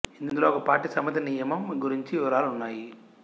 ఇందులో ఒక పార్టీ సమ్మతి నియమం గురించి వివరాలు ఉన్నాయి